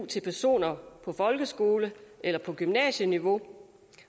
til personer på folkeskole eller gymnasieniveau